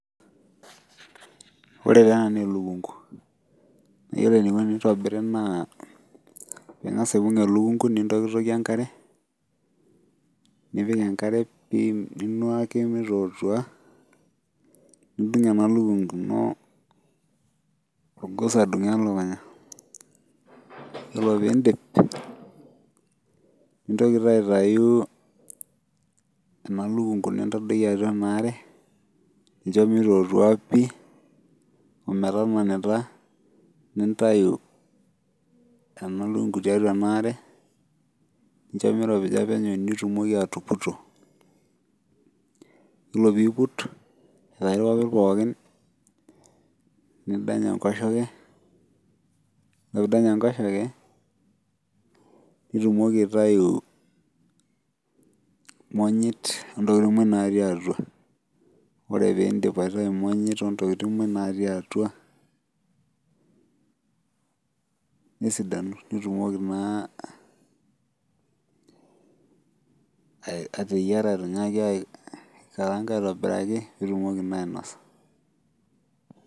Wore taa ena naa elukungu. Naa yiolo enikuni tenitobirri naa ingas aibung elukungu nintokitokie enkare, nipik enkare pii ninuaki mitootua, nidung ena lukungu ino orgos adungu elukunya. Yiolo piindip, nintoki taa aitayu ena lukungu nintadoiki atua enaare, nincho mitootua pii, ometananita. Nintayu ena lukungu tiatua enaare, nincho miropija penyo nitumoki atuputuo, yiolo pee iput aitayu irpapit pookin, nidany enkoshoke, wore pee idany enkoshoke, nitumoki aitayu imonyit ontokitin moj natii atua. Wore pee iindip aitayu imonyit ontokitin moj natii atua, nesidanu nitumoki naa ateyiara ainyiaki aikaraanga aitobiraki piitumoki naa ainosa.